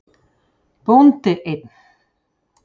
Bóndi einn.